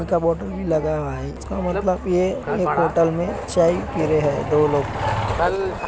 पानी का बोटल भी लगा हुआ है इसका मतलब यह एक होटल में चाय पी रहे हैं दो लोग --